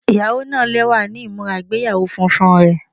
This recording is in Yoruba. Iyawo naa lẹwa ni imura igbeyawo funfun rẹ